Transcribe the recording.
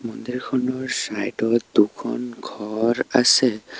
মন্দিৰখনৰ side ত দুখন ঘৰ আছে।